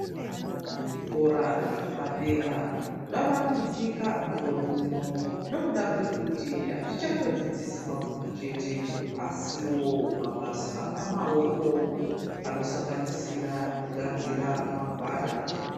Zvikora zvapadera zvavandudzika mukore uno, nokuda kwekuti azvichangodzidzisi mabhuku chete, asiwo mabasa amaoko anosanganisira kugadzira magwada.